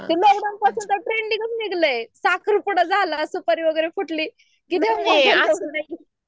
lockdown पासून तर ट्रेंडिंगच निघालंय साखर पूडा झाला सुपारी वगैर फुटली